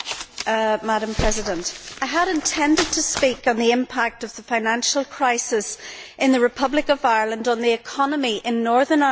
Madam President, I had intended to speak on the impact of the financial crisis in the Republic of Ireland on the economy in Northern Ireland.